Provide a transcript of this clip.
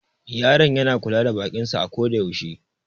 Yaron yana kula da bakin sa a ko da yaushe.